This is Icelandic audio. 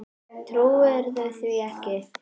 Trúirðu því ekki?